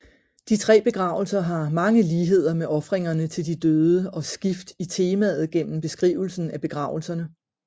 De tre begravelser har mange ligheder med ofringerne til de døde og skift i temaet gennem beskrivelsen af begravelserne